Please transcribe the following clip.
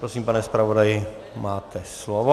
Prosím, pane zpravodaji, máte slovo.